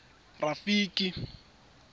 rafiki